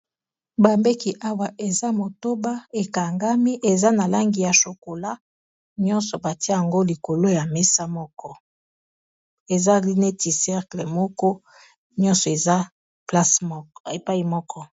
Bambeki awa eza motoba ekangami eza na langi ya chokola nyonso batia yango likolo ya mesa moko ezali neti sercle moko nyonso eza epai moko